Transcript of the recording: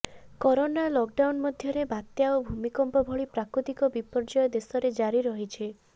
corona lockdown ମଧ୍ୟରେ ବାତ୍ୟା ଓ ଭୂମିକମ୍ପ ଭଳି ପ୍ରାକୃତିକ ବିପର୍ଯ୍ୟୟ ଦେଶରେ ଜାରି ରହିଛି